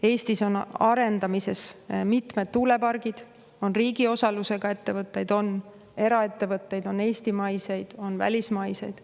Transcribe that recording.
Eestis on arendamisel mitmed tuulepargid ja on riigi osalusega ettevõtteid, on eraettevõtteid, on eestimaiseid, on välismaiseid.